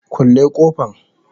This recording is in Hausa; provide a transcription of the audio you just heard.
kulle kofan.